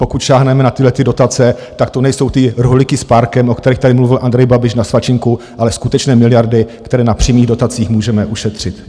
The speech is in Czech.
Pokud sáhneme na tyto dotace, tak to nejsou ty rohlíky s párkem, o kterých tady mluvil Andrej Babiš, na svačinku, ale skutečně miliardy, které na přímých dotacích můžeme ušetřit.